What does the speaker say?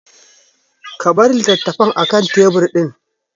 Ka bar litattafan akan tebur ɗin!